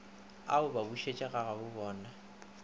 a o ba bušetše gagabobona